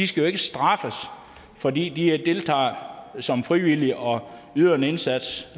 skal straffes fordi de deltager som frivillige og yder en indsats